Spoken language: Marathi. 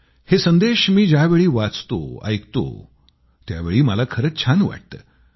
हे संदेश मी ज्यावेळी वाचतो ऐकतो त्यावेळी मला खरंच छान वाटतं